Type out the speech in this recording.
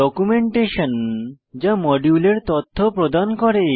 documentation যা মডিউলের তথ্য প্রদান করে